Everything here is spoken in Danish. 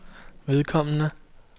vedkommende